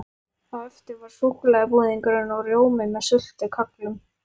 Á eftir var súkkulaðibúðingur og rjómi með sultu- kögglum.